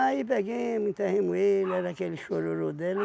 Aí peguemo, enterremo ele, era aquele chororô dela